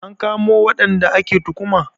An kamo waɗanda ake tuhuma?